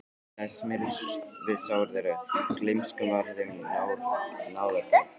Tíminn lagði smyrsl við sár þeirra, gleymskan varð þeim náðargjöf.